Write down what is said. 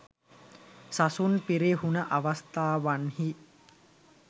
සසුන් පිරිහුණ අවස්ථාවන්හි